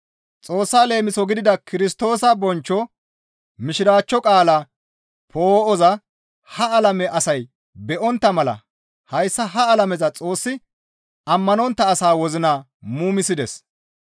Xoossa leemiso gidida Kirstoosa bonchcho Mishiraachcho qaalaa poo7oza ha alame asay be7ontta mala hayssa ha alameza xoossi ammanontta asaa wozina muumisides.